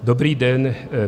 Dobrý den.